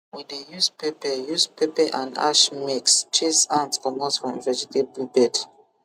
we dey use pepper use pepper and ash mix chase ant comot from vegetable bed